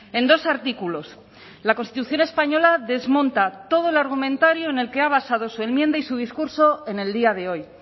en dos artículos la constitución española desmonta todo el argumentario en el que ha basado su enmienda y su discurso en el día de hoy